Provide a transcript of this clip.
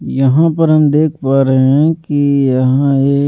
यहां पर हम देख पा रहे हैं कि यहां एक --